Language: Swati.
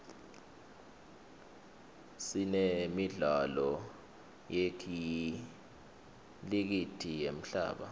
sinemidlalo yekhilijithi yemhlaba